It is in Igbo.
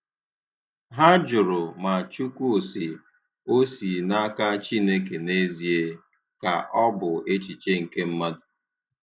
Ha jụrụ ma "Chukwu sị" o si n'aka Chineke n'ezie, ka ọ bụ echiche nke mmadụ.